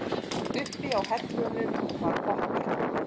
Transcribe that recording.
Uppi á hellunum var pottur.